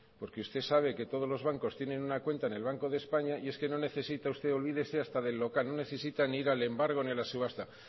porque usted sabe que todos los bancos tienen una cuenta en el banco de españa y es que no necesita usted olvídese hasta del local no necesita ni ir al embargo ni a la subasta